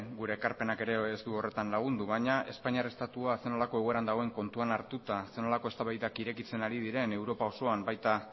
gure ekarpenak ere ez du horretan lagundu baina espainiar estatua zer nolako egoeran dagoen kontuan hartuta zer nolako eztabaidak irekitzen ari diren europa osoan